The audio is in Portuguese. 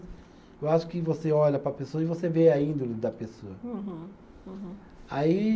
Eu acho que você olha para a pessoa e você vê a índole da pessoa. Uhum, uhum. Aí